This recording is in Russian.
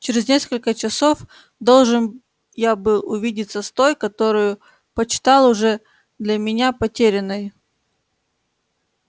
через несколько часов должен я был увидеться с той которую почитал уже для меня потерянной